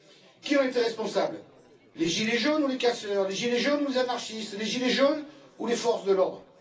Qui en était responsable les gilets jaunes ou les casseurs, les gilets jaunes ou les anarchistes, les gilets jaunes ou les forces de l'ordre?